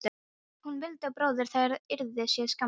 Hvort hún vildi að bróðir þeirra yrði sér til skammar?